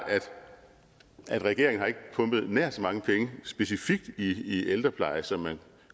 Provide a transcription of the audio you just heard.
at regeringen ikke pumpet nær så mange penge specifikt i ældrepleje som man